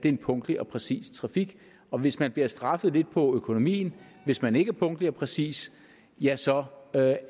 er en punktlig og præcis trafik og hvis man bliver straffet lidt på økonomien hvis man ikke er punktlig og præcis ja så